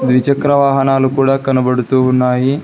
ద్విచక్ర వాహనాలు కూడా కనబడుతూ ఉన్నాయి.